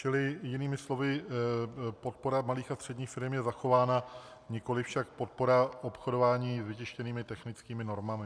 Čili jinými slovy, podpora malých a středních firem je zachována, nikoli však podpora obchodování s vytištěnými technickými normami.